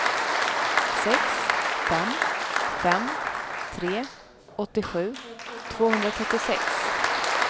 sex fem fem tre åttiosju tvåhundratrettiosex